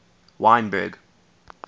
wynberg